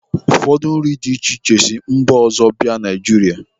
Ụfọdụ nri dị iche iche si mba ọzọ bịa Naijiria.